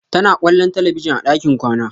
Tana kwallon talabijin a ɗakin kwana.